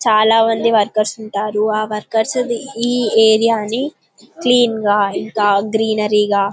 చాలా మంది వర్కర్స్ ఉంటారు ఆ వర్కర్స్ ఈ ఏరియా ని క్లీన్ గా ఇంకా గ్రీనరీ గా